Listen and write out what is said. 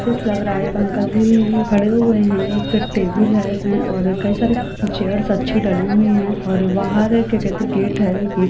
Fresh लग रहा है एक अंकल जी खड़े हुए है एक टेबल है और कई सारी चेयर्स अच्छी डली हुई हैं और बाहर एक क्या कहते है गेट है।